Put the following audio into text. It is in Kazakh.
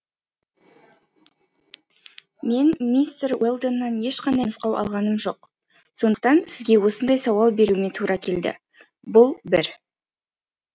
мен мистер уэлдоннан ешқандай нұсқау алғаным жоқ сондықтан сізге осындай сауал беруіме тура келді бұл бір